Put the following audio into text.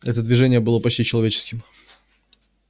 это движение было почти человеческим